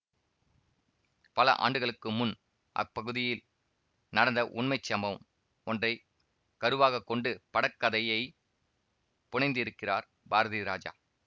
பல ஆண்டுகளுக்கு முன் அப்பகுதியில் நடந்த உண்மை சம்பவம் ஒன்றை கருவாகக் கொண்டு படக்கதையை புனைந்திருக்கிறார் பாரதிராஜா